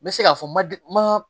N bɛ se k'a fɔ madi ma